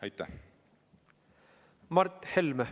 Mart Helme, palun!